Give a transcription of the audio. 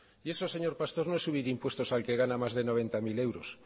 y eso señor pastor no es subir impuestos al que gana más de noventa mil euros